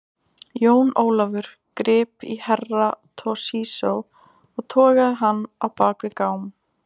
Jón Ólafur grip í Herra Toshizo og togaði hann á bak við gám.